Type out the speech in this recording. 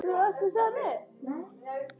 Á honum virtist brotið.